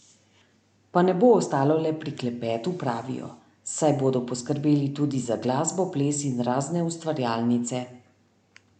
Pa ne bo ostalo le pri klepetu, pravijo, saj bodo poskrbeli tudi za glasbo, ples in razne ustvarjalnice ...